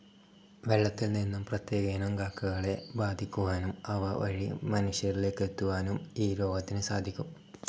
വെള്ളത്തിൽനിന്നും പ്രത്യേകയിനം കക്കകളെ ബാധിക്കുവാനും അവ വഴി മനുഷ്യരിലേക്ക് എത്താനും ഈ രോഗത്തിന് സാധിക്കും.